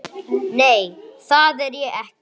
Nei, það er ég ekki.